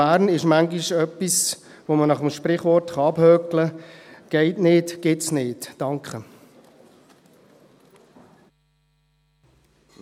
Bern gibt es manchmal etwas, das man nach dem Sprichwort «geht nicht, gibt’s nicht» abhaken kann.